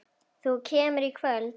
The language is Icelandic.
Þú kemur í kvöld!